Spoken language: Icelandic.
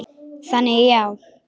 Þannig já.